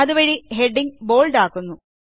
അതുവഴി ഹെഡ്ഡിംഗ്സ് ബോൾഡാകുന്നു